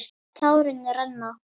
Tárin renna.